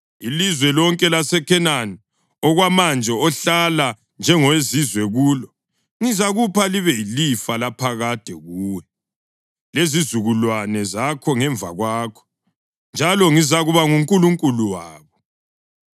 Ilizwe lonke laseKhenani, okwamanje ohlala njengowezizwe kulo, ngizakupha libe yilifa laphakade kuwe lezizukulwane zakho ngemva kwakho; njalo ngizakuba nguNkulunkulu wabo.”